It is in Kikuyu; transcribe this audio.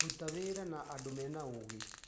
Ruta wĩra na andũ mena ũũgĩ.